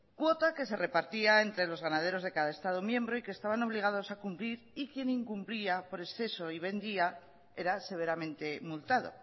cuota que se repartía entre los ganadores de cada estado miembro y que estaban obligados a cumplir y quien incumplía por exceso y vendía era severamente multado